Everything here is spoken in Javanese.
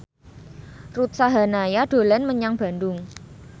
Ruth Sahanaya dolan menyang Bandung